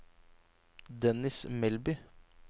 Dennis Melby